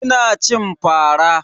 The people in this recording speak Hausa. Ina cin fara.